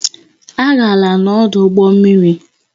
Agala n'ọdụ ụgbọ mmiri